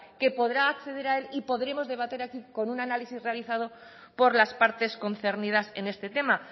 que podrá acceder a él y podremos debatir aquí con un análisis realizado por las partes concernidas en este tema